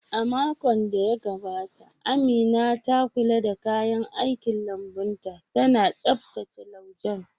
A makon da ya gabata, Amina ta kula da kayan aikin lambun ta, tana tsaftace laujen